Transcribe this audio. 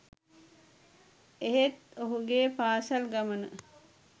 එහෙත් ඔහුගේ පාසැල් ගමන